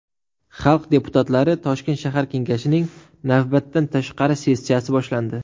Xalq deputatlari Toshkent shahar kengashining navbatdan tashqari sessiyasi boshlandi.